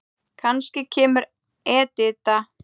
Kannski kemur Edita.